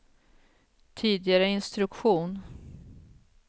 tidigare instruktion